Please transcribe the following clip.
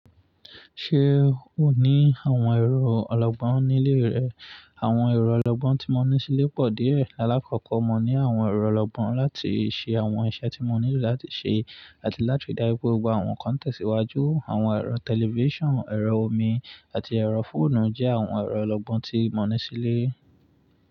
Ṣe o ni awọn ẹrọ ọlọgbọn ni ile rẹ? Awọn ẹrọ ọlọgbọn ti mo ni sile pọ diẹ. Ni alakoko mo ni awọn ẹrọ ọlọgbọn lati ṣe awọn iṣẹ ti mo nilo lati ṣe ati lati dari gbogbo awọn kọntẹsi iwaju. Awọn ẹrọ tẹlifisiọnu, ẹrọ omi, ati ẹrọ foonu jẹ awọn ẹrọ ọlọgbọn ti mo ni sile.